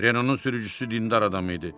Renault-nun sürücüsü dindar adam idi.